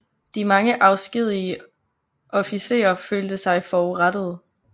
De mange afskedigede officerer følte sig forurettede